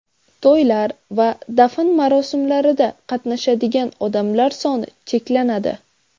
To‘ylar va dafn marosimlarida qatnashadigan odamlar soni cheklanadi.